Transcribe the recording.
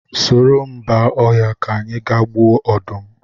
Soro m ba ọhịa ka anyị ga gbuo ọdụm